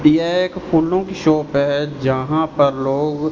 ये एक फूलों की शॉप हैं जहाँ पर लोग--